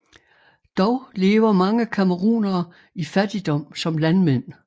Dog lever mange camerounere i fattigdom som landmænd